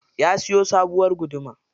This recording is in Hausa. Ya siyo sabuwar guduma.